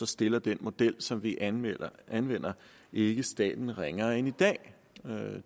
stiller den model som vi anvender anvender ikke staten ringere end i dag